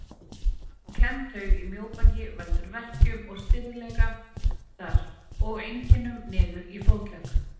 Klemmd taug í mjóbaki veldur verkjum og stirðleika þar og einkennum niður í fótlegg.